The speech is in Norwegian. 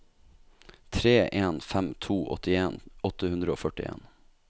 tre en fem to åttien åtte hundre og førtien